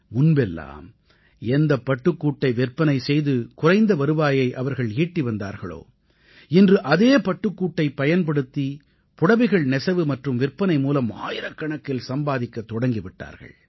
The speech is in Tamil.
முன்பெல்லாம் எந்த பட்டுக்கூட்டை விற்பனை செய்து குறைந்த வருவாயை அவர்கள் ஈட்டி வந்தார்களோ இன்று அதே பட்டுக்கூட்டைப் பயன்படுத்தி புடவைகள் நெசவு மற்றும் விற்பனை மூலம் ஆயிரக்கணக்கில் சம்பாதிக்கத் தொடங்கி விட்டார்கள்